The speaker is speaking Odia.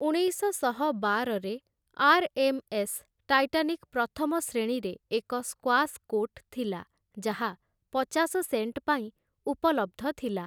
ଉଣେଇଶଶହ ବାରରେ, ଆର୍‌.ଏମ୍‌.ଏସ୍‌. ଟାଇଟାନିକ୍ ପ୍ରଥମ ଶ୍ରେଣୀରେ ଏକ ସ୍କ୍ୱାସ୍ କୋର୍ଟ ଥିଲା, ଯାହା ପଚାଶ ସେଣ୍ଟପାଇଁ ଉପଲବ୍ଧ ଥିଲା ।